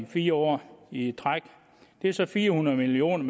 fire år i træk det er så fire hundrede million